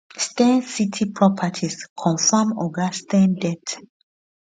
steyn city properties confam oga steyn death